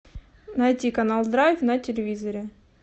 найти канал драйв на телевизоре